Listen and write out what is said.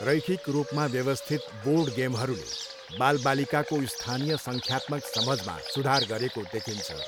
रैखिक रूपमा व्यवस्थित बोर्ड गेमहरूले बालबालिकाको स्थानिय सङ्ख्यात्मक समझमा सुधार गरेको देखिन्छ।